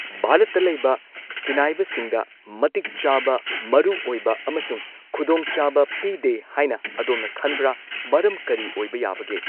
ꯚꯥꯔꯠꯇ ꯂꯩꯕ ꯁꯤꯟꯅꯥꯢꯕꯁꯤꯡꯗ ꯃꯇꯤꯛ ꯆꯥꯕ ꯃꯔꯨ ꯑꯣꯏꯕ ꯑꯃꯁꯨꯡ ꯈꯨꯗꯣꯡ ꯆꯥꯕ ꯄꯤꯗꯦ ꯍꯥꯏꯅ ꯑꯗꯣꯝꯅ ꯈꯟꯕ꯭ꯔꯥ ꯃꯔꯝ ꯀꯔꯤ ꯑꯣꯏꯕ ꯌꯥꯕꯒꯦ